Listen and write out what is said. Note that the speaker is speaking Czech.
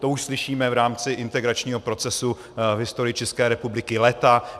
To už slyšíme v rámci integračního procesu v historii České republiky léta.